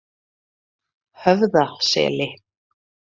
Höfðaseli